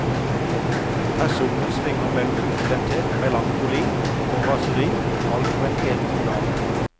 Personene svinger mellom oppstemthet, melankoli og raseri, alt på en eneste dag.